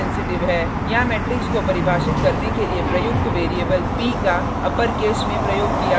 यहाँ मेट्रिक्स को परिभाषित करने के लिए प्रयुक्त वैरिएबल p का upper case में प्रयोग किया गया है